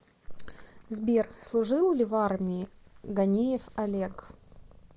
сбер служил ли в армии ганеев олег